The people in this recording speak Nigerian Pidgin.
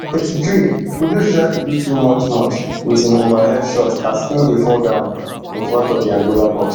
eighty-threekudus try to do too much much wit im overhead shot as im dey fall down in front of di angola box